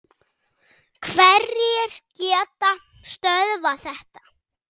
Hverjir geta stöðvað þetta?